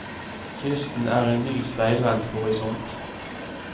Kysten er en ny speilvendt horisont.